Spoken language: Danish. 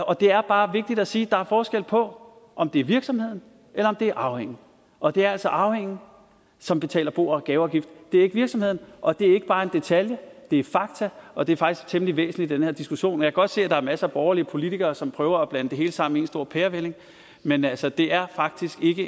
og det er bare vigtigt at sige at der er forskel på om det er virksomheden eller om det er arvingen og det er altså arvingen som betaler bo og gaveafgift det er ikke virksomheden og det er ikke bare en detalje det er fakta og det er faktisk temmelig væsentligt i den her diskussion jeg kan godt se at der er masser af borgerlige politikere som prøver at blande det hele sammen i en stor pærevælling men altså det er faktisk ikke